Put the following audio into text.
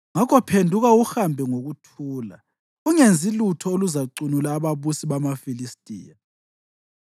Ngakho phenduka uhambe ngokuthula; ungenzi lutho oluzacunula ababusi bamaFilistiya.”